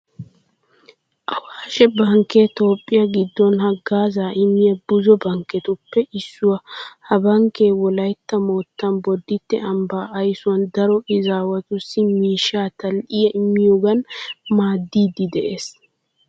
Awaashshe bankkee toophphiya giddon haggaazaa immiya buzo bankketuppe issuwa. Ha bankkee wolaytta moottan bodditte ambbaa aysuwan daro izaawatussi miishshaa tal"iya immiyogan maaddiiddi de'ees.